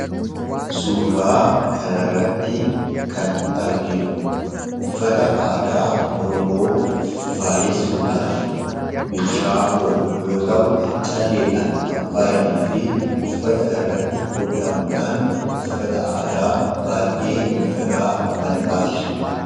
Suuraa kanarratti kan arginu uffata aadaa Oromoo faayessuudhaaf meeshaa oolu yoo ta'u, meeshaa calleedhaan kan faayamee fi uffata irratti hodhamuudhaan uffata aadaa baay'ee miidhagaa kan taasisudha.